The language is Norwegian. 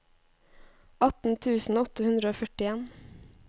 atten tusen åtte hundre og førtien